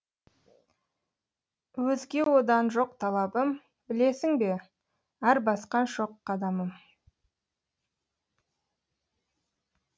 өзге одан жоқ талабым білесің бе әр басқа шоқ қадамым